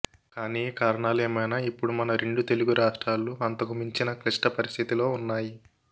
కానీ కారణాలేమైనా ఇప్పుడు మన రెండు తెలుగు రాష్ట్రాలు అంతకుమించిన క్లిష్ట పరిస్థితిలో ఉన్నాయి